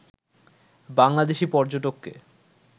Bangladeshi পর্যটককে